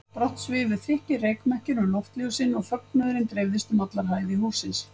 Brátt svifu þykkir reykmekkir um loftljósin og fögnuðurinn dreifðist um allar hæðir hússins.